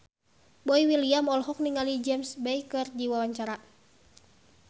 Boy William olohok ningali James Bay keur diwawancara